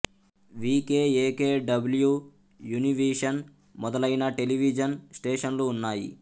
we K A K W Univision మొదలైన television స్టేషన్లు ఉన్నాయి